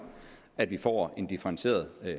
at vi får en differentieret